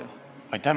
Aitäh!